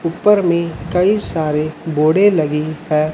ऊपर में कई सारे बोर्डे लगे है।